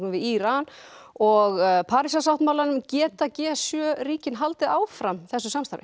við Íran og Parísarsáttmálanum geta g sjö ríkin haldið áfram þessu samstarfi